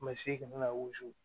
Masiri kana